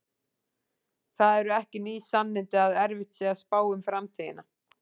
Það eru ekki ný sannindi að erfitt sé að spá um framtíðina.